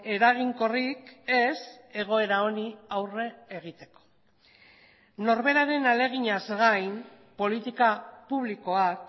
eraginkorrik ez egoera honi aurre egiteko norberaren ahaleginaz gain politika publikoak